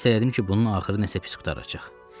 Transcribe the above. Hiss elədim ki, bunun axırı nəsə pis qurtaracaq.